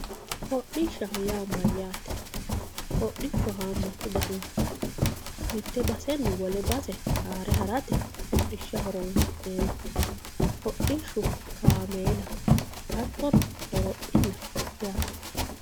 Hodhishshaho yaa mayyate ,hodhishshu hamatu danihu no mite baseni wole base haare harate hodhishsha horonsi'neemmo, hodhishshu kaameela hattono horophillaho yaate.